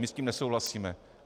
My s tím nesouhlasíme.